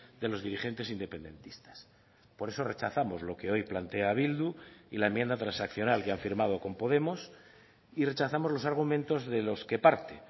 de los dirigentes independentistas por eso rechazamos lo que hoy plantea bildu y la enmienda transaccional que han firmado con podemos y rechazamos los argumentos de los que parte